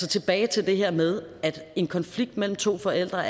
tilbage til det her med at en konflikt mellem to forældre